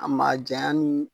A ma jaɲa n